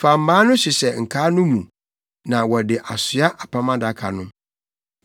Fa mmaa no hyehyɛ nkaa no mu na wɔde asoa apam adaka no.